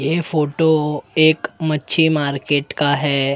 ये फोटो एक मच्छी मार्केट का है।